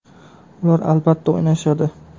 Ular albatta o‘ynashadi.